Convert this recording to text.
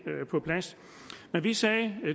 på plads vi sagde